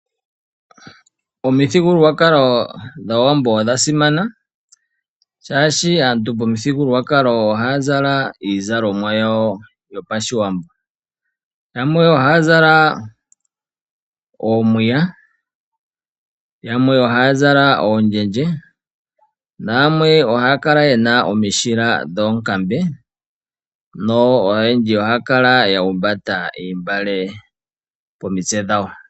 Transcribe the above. Omithigululwakalo dhAawambo odha simana shaashi aantu momithigululwakalo ohaya zala iizalomwa yawo yo pashiwambo. Yamwe ohaya zala oomiya, yamwe ohaya zala oondjendje, na yamwe ohaya kala nomisjila dhoonkambe noyendji ohaya kala ya humbata iimbale pomitse dhawo.